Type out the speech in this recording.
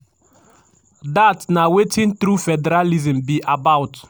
"each state state suppose get power to design di kind local goment system dem want.